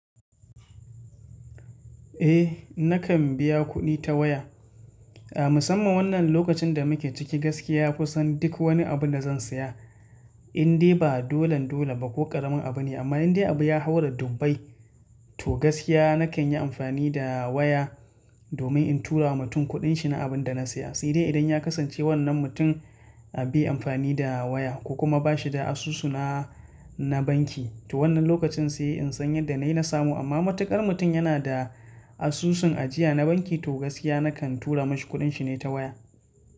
Eh nakan biya kuɗi ta waya. A musamman wannan lokacin da muke ciki gaskiya kusan duk wani abu da zan saya. Indai ba dolan dole ba ko ƙaramin abu ne amma indai abu ya haura dubbai to gaskiya nakan yi amfani da waya domin in tura wa mutum kuɗin shi na abin da na saya. Sai dai idan ya kasance wannan mutum bai yi amfani da waya ko kuma ba shi da asusu na, na banki to wannan lokacin sai in san yadda na yi na samu amma matuƙar mutum yana da asusun ajiya na banki to gaskiya nakan tura mashi kuɗin shi ne ta waya.